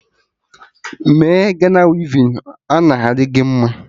Mee Gana wivin, ọ na adị gị mma!